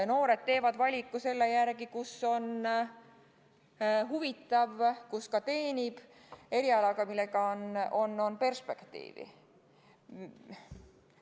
Noored teevad valiku selle järgi, kus on huvitav, ja kus ka teenib, erialal, millel on perspektiivi.